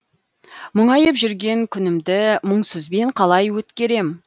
мұңайып жүрген күнімді мұңсызбен қалай өткерем